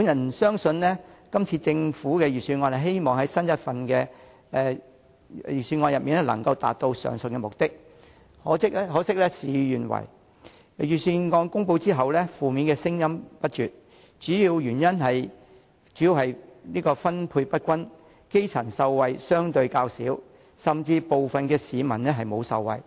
我相信雖然政府希望今年的預算案能夠達致上述目的，可惜事與願違，預算案公布後，負面聲音不絕，主要原因是分配不均以致基層受惠相對較少，部分市民甚至未能受惠。